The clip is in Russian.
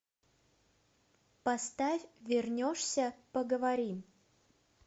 поставь вернешься поговорим